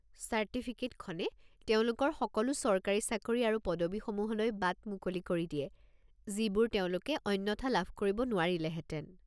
চাৰ্টিফিকেটখনে তেওঁলোকৰ সকলো চৰকাৰী চাকৰি আৰু পদবী সমূহলৈ বাট মুকলি কৰি দিয়ে যিবোৰ তেওঁলোকে অন্যথা লাভ কৰিব নোৱাৰিলেহেতেন।